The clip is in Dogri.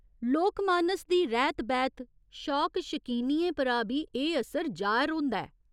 लोक मानस दी रैह्त बैह्त, शौक शकीनियें परा बी एह् असर जाह्‌र होंदा ऐ।